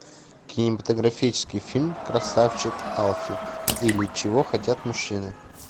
кинематографический фильм красавчик алфи или чего хотят мужчины